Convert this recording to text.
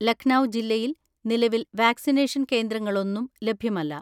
ലഖ്‌നൗ ജില്ലയിൽ നിലവിൽ വാക്സിനേഷൻ കേന്ദ്രങ്ങളൊന്നും ലഭ്യമല്ല.